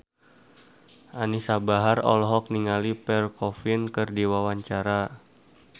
Anisa Bahar olohok ningali Pierre Coffin keur diwawancara